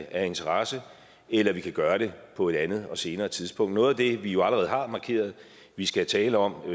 af interesse eller vi kan gøre det på et andet og senere tidspunkt noget af det vi jo allerede har markeret vi skal tale om